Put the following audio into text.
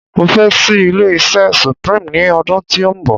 mo fẹ ṣi ilé iṣẹ supreme ni odun ti o nbọ